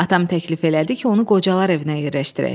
Atam təklif elədi ki, onu qocalar evinə yerləşdirək.